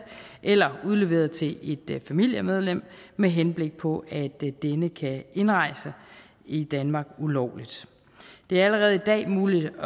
eller er udleveret til et familiemedlem med henblik på at denne kan indrejse i danmark ulovligt det er allerede i dag muligt